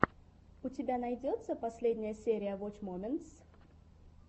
у тебя найдется последняя серия воч моментс